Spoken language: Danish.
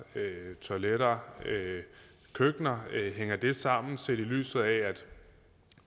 toiletter og køkkener altså det hænger sammen set i lyset af at